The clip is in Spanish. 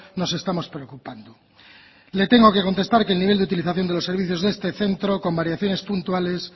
nos estamos preocupando le tengo que contestar que el nivel de utilización de los servicios de este centro con variaciones puntuales